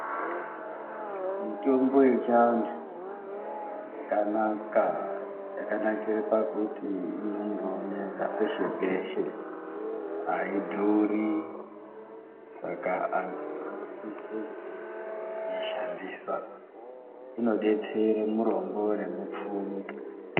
Mitombo ye chi antu yakanaka yakanakira pakuti inondo oneka peshe peshe ayi dhuri saka antu anosise kupota eyi ishandisa inodetsere murombo ne mupfumi.